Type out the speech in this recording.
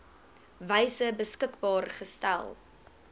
wyse beskikbaar gestel